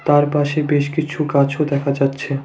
তার পাশে বেশ কিছু গাছও দেখা যাচ্ছে।